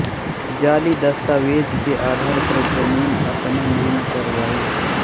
जाली दस्तावेज के आधार पर जमीन अपने नाम करवाई